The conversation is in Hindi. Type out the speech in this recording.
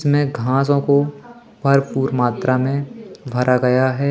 इसमें घासों को भरपूर मात्रा में भरा गया है।